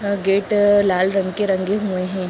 अ gate लाल रंग के रंगे हुए हैं।